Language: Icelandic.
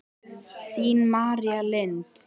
Þín, María Lind.